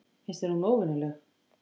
Finnst þér hún óvenjuleg?